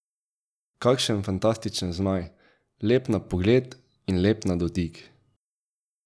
Kakšen fantastičen zmaj, lep na pogled in lep na dotik.